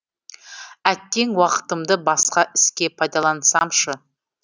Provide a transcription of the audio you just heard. әттең уақытымды басқа іске пайдалансамшы